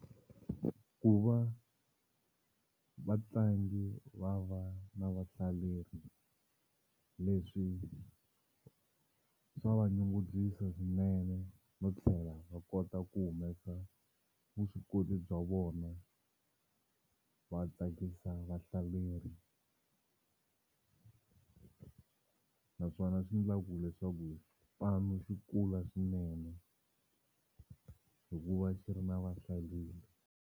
Ku va vatlangi va va na vahlaleri leswi swa va nyungubyisa swinene no tlhela va kota ku humesa vuswikoti bya vona va tsakisa vahlaleri naswona swi endlaku leswaku xipano xi kula swinene hikuva xi ri na vahlaleri.